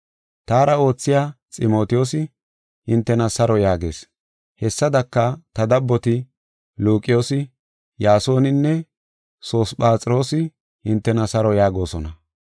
Taara oothiya Ximotiyoosi hintena saro yaagees. Hessadaka, ta dabboti Luqiyoosi, Yaasoninne Sosiphaxroosi hintena saro yaagosona.